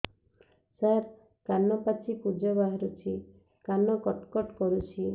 ସାର କାନ ପାଚି ପୂଜ ବାହାରୁଛି କାନ କଟ କଟ କରୁଛି